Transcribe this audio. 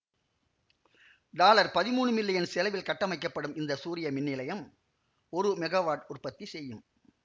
dollar பதிமூனு million செலவில் கட்டமைக்கப்படும் இந்த சூரிய மின்நிலையம் ஒரு மெகாவாட் உற்பத்தி செய்யும்